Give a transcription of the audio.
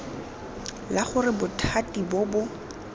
la gore bothati bo bo